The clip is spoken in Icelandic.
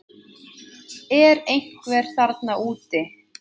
Er einhver þarna úti